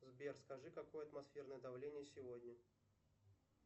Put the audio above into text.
сбер скажи какое атмосферное давление сегодня